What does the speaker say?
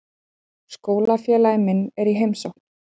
Skólafélagi minn er í heimsókn.